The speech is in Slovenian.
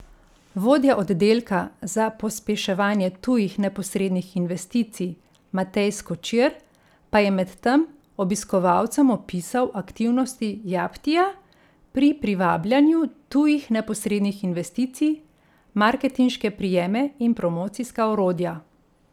Vodja oddelka za pospeševanje tujih neposrednih investicij Matej Skočir pa je medtem obiskovalcem opisal aktivnosti Japtija pri privabljanju tujih neposrednih investicij, marketinške prijeme in promocijska orodja.